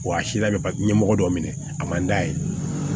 Wa a si labɛn ka ɲɛmɔgɔ dɔ minɛ a man d'a ye